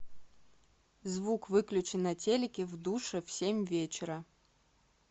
звук выключи на телике в душе в семь вечера